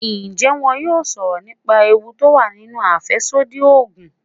Ǹjẹ́ wón yóò sọ̀rọ̀ nípa ewu tó wà nínú àfẹ́sódì Ògùn.